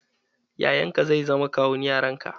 Yayanka zai zama kawun yaran ka.